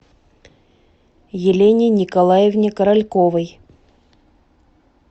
елене николаевне корольковой